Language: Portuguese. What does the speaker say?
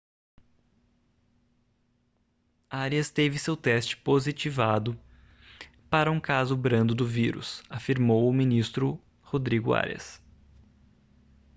arias teve seu teste positivado para um caso brando do vírus afirmou o ministro rodrigo arias